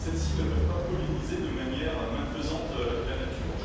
ne peuvent pas polliniser de manière malfaisante la nature.